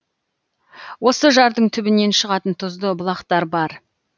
осы жардың түбінен шығатын тұзды бұлақтар бар